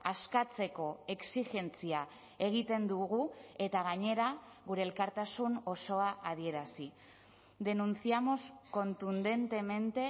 askatzeko exijentzia egiten dugu eta gainera gure elkartasun osoa adierazi denunciamos contundentemente